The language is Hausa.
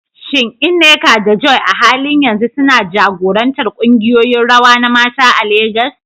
Shin Nneka da Joy a halin yanzu suna jagorantar kungiyoyin rawa na mata a Legas?